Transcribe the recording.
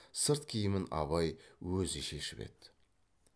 сырт киімін абай өзі шешіп еді